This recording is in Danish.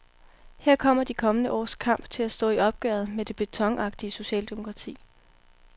Her kommer de kommende års kamp til at stå i opgøret med det betonagtige socialdemokrati.